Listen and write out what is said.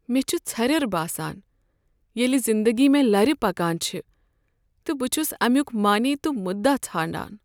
مےٚ چھ ژھریر باسان ییٚلہ زنٛدگی مےٚ لرِ پكان چھِ تہٕ بہٕ چھس امیُک معنے تہٕ مٖدا ژھانٛڈان۔